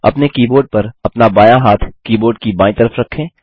अपने कीबोर्ड पर अपना बायाँ हाथ कीबोर्ड की बायीं तरफ रखें